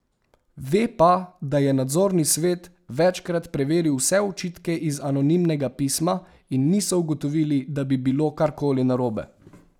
Ve pa, da je nadzorni svet večkrat preveril vse očitke iz anonimnega pisma, in niso ugotovili, da bi bilo karkoli narobe.